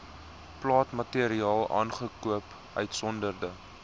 plantmateriaal aangekoop uitgesonderd